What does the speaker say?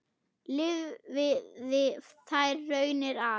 Lifði þær raunir af.